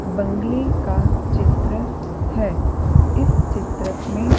बंग्ले का चित्र है इस चित्र में--